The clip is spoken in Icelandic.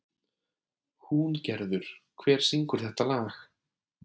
Húngerður, hver syngur þetta lag?